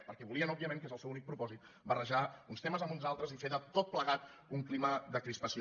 perquè volien òbviament que és el seu únic propòsit barrejar uns temes amb uns altres i fer de tot plegat un clima de crispació